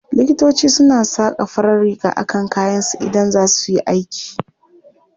Likitoci suna saka farar riga a kan kayansu Idan za su yi aiki.